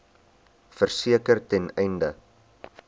verseker ten einde